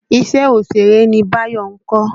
Iṣẹ́ òṣèré ni Báyọ̀ ń kọ́.